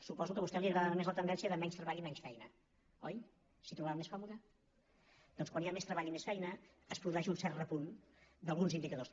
suposo que a vostè li agradava més la tendència de menys treball i menys feina oi s’hi trobava més còmoda doncs quan hi ha més treball i més feina es produeix un cert repunt d’alguns indicadors